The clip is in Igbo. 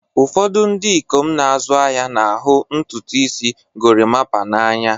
Ụfọdụ ndị ikom na-azụ ahịa na-ahụ ntutu isi gorimapa n'anya